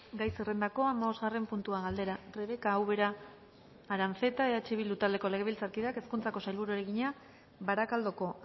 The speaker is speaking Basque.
gai zerrendakoa hamabosgarren puntua galdera rebeka ubera aranzeta eh bildu taldeko legebiltzarkideak hezkuntzako sailburuari egina barakaldoko